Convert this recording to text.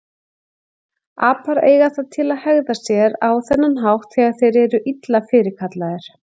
Apar eiga það til að hegða sér á þennan hátt þegar þeir eru illa fyrirkallaðir.